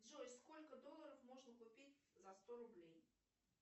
джой сколько долларов можно купить за сто рублей